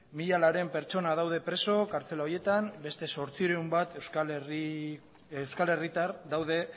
mila laurehun pertsona daude preso kartzela horietan beste zortziehun bat euskal herritar daude